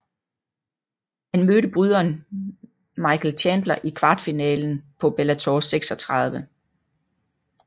Han mødte bryderen Michael Chandler i kvartfinalerne på Bellator 36